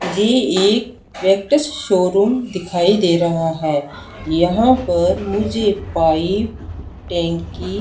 ये एक Vectus showroom दिखाई दे रहा है यहां पर मुझे पाइप टैंकी--